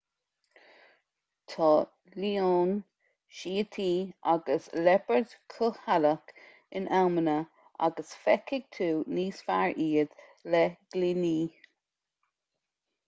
tá leoin síotaí agus liopaird cúthaileach in amanna agus feicfidh tú níos fearr iad le gloiní